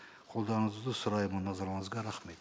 қолдауыңызды сұраймын назарларыңызға рахмет